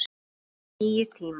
Það voru nýir tímar.